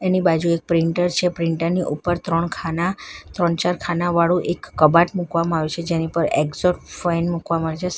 એની બાજુ એક પ્રિન્ટર છે પ્રિન્ટર ની ઉપર ત્રણ ખાના ત્રણ ચાર ખાના વાળું એક કબાટ મૂકવામાં આવે છે જેની પર એકઝોટ ફાઈન મુકવા મળશે સાઈ --